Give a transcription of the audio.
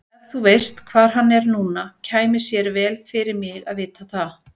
Ef þú veist hvar hann er núna kæmi sér vel fyrir mig að vita það.